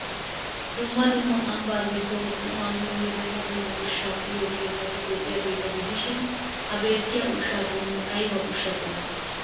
Dumma dumma ambbaa giddon qumaa miyonne dumma dumma ushshata uyiyo keettati de'iyageeta gidishin ha beettiya ushshaa qommoy ayba ushshaa qommo?